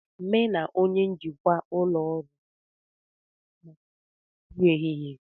Mu na onye njikwa ụlọ ọrụ soro puo maka nri ehihe